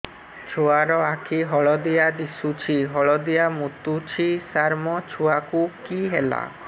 ଛୁଆ ର ଆଖି ହଳଦିଆ ଦିଶୁଛି ହଳଦିଆ ମୁତୁଛି ସାର ମୋ ଛୁଆକୁ କି ହେଲା